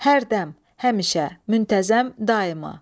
Hərdəm, həmişə, müntəzəm, daima.